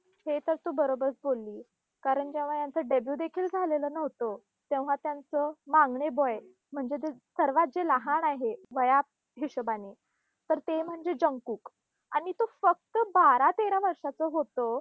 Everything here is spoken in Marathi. हे तर तू बरोबरच बोललीस. कारण जेव्हा यांचं debut देखील झालेलं नव्हतं, तेव्हा त्यांचं म्हणजे जे सर्वात जे लहान आहे वया हिशोबाने तर ते म्हणजे आणि तो फक्त बारा तेरा वर्षाचं होतं,